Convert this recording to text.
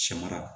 Sɛmara